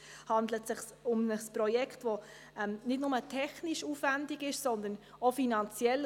Es handelt sich um ein Projekt, welches nicht nur technisch aufwendig ist, sondern auch finanziell.